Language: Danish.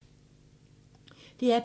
DR P2